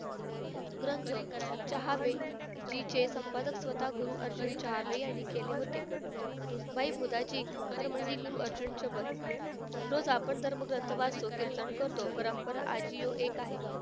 ग्रंथ चहाबे जीचे संपादक स्वतः गुरु अर्जुन चहाबे यांनी केले होते. हरमंडी गुरु अर्जुन सोबत रोज आपण धर्मग्रंथ वाचतो, कीर्तन करतो, परंपरा आजिविक आहे.